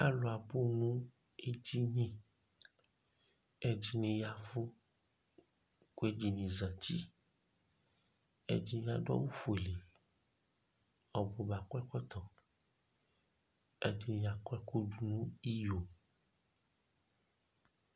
alʋ abʋ nʋ ɛdini ɛdini yavʋ kʋ ɛdini zati, ɛdini adʋ awʋ ƒʋɛlɛ, ɔbʋba akɔ ɛkɔtɔ, ɛdini akɔ ɛkʋ dʋnʋ iyɔ